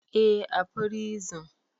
Eh, a prison